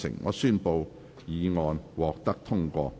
我宣布議案獲得通過。